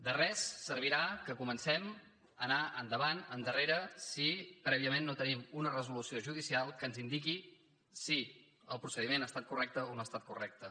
de res servirà que comencem a anar endavant endarrere si prèviament no tenim una resolució judicial que ens indiqui si el procediment ha estat correcte o no ha estat correcte